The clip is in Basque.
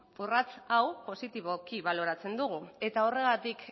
urrats hau positiboki baloratzen dugu eta horregatik